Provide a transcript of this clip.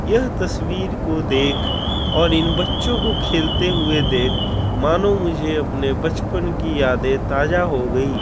यह तस्वीर को देख और इन बच्चे को खेलते हुए देख मानो मुझे अपनी बचपन कि यादे ताज़ा हो गई।